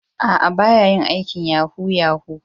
Aa, ba ya yin aikin yahoo -yahoo.